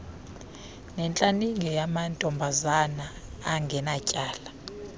netlaninge yamantombazana angenatyala